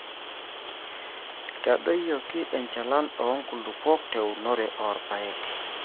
eitadoyioki enchalan oo nkulupuok teunore oorpaek